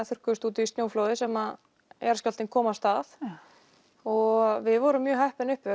þurrkaðist út í snjóflóði sem jarðskjálftinn kom af stað og við vorum mjög heppin uppi